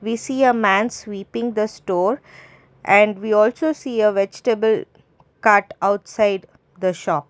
We see a man sweeping the store and we also see a vegetable cart outside the shop.